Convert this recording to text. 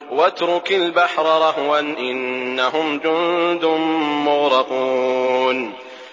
وَاتْرُكِ الْبَحْرَ رَهْوًا ۖ إِنَّهُمْ جُندٌ مُّغْرَقُونَ